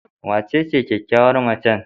Wacece kyakkyawar macen?